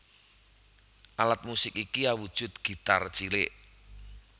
Alat musik iki awujud gitar cilik